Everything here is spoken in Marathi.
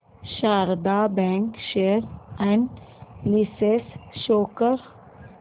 Sharda bank share analysis show कर